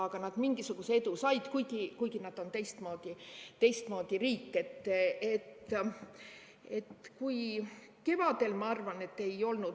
Aga nad mingisuguse edu said, kuigi nad on teistmoodi riik.